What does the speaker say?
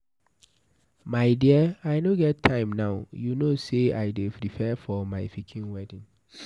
My dear I no get time now, you no say I dey prepare for my pikin wedding